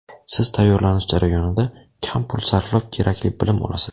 Siz tayyorlanish jarayonida kam pul sarflab kerakli bilim olasiz.